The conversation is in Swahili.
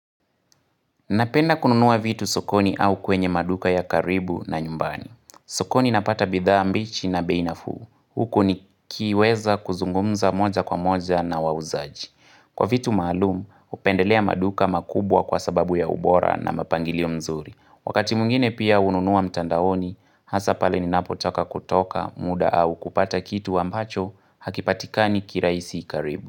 Napenda kununuwa vitu sokoni au kwenye maduka ya karibu na nyumbani. Sokoni napata bidhaa mbichi na beinafuu. Huko ni kiweza kuzungumza moja kwa moja na wauzaji. Kwa vitu maalumu, upendelea maduka makubwa kwa sababu ya ubora na mapangilio mzuri. Wakati mwingine pia ununuwa mtandaoni, hasa pale ni napotaka kutoka muda au kupata kitu ambacho hakipatikani kiraisi karibu.